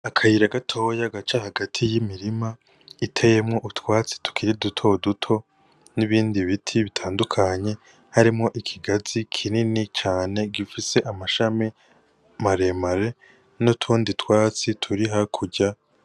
Akayira gatoya gaca hagati y'imirima iteyemwo utwatsi tukiri dutoduto n'ibindi biti bitandukanye harimwo ikigazi kinini cane gifise amashami maremare n'utundi twatsi turi hakurya.